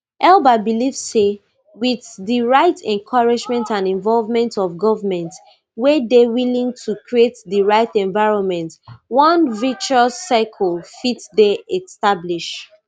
elba believe say wit di right encouragement and involvement of governments wey dey willing to create di right environment one virtuous circle fit dey established